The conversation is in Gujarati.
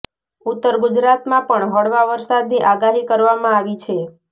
ઉત્તર ગુજરાતમાં પણ હળવા વરસાદની આગાહી કરવામાં આવી છે